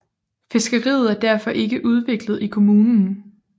Fiskeriet er derfor ikke udviklet i kommunen